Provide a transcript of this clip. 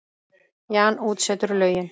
Jan útsetur lögin.